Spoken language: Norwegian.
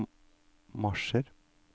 marsjer